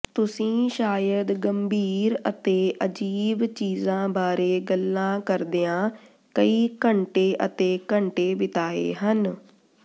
ਤੁਸੀਂ ਸ਼ਾਇਦ ਗੰਭੀਰ ਅਤੇ ਅਜੀਬ ਚੀਜ਼ਾਂ ਬਾਰੇ ਗੱਲਾਂ ਕਰਦਿਆਂ ਕਈ ਘੰਟੇ ਅਤੇ ਘੰਟੇ ਬਿਤਾਏ ਹਨ